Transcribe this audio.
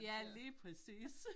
Ja lige præcis